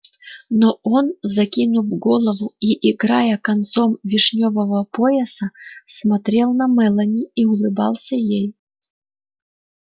но он закинув голову и играя концом вишнёвого пояса смотрел на мелани и улыбался ей